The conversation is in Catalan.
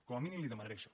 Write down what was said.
com a mínim li demanaré això